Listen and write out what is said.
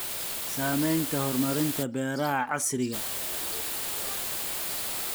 Saamaynta horumarinta beeraha casriga ah.